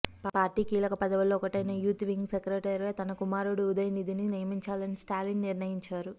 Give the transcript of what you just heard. party కీలక పదవుల్లో ఒకటైన యాత్ వింగ్ సెక్రటరీగా తన కుమారుడు ఉదయనిధిని నియమించాలన స్టాలిన్ నిర్ణయించారు